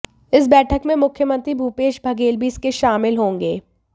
इस बैठक में मुख्यमंत्री भूपेश बघेल भी इसके शामिल होंगे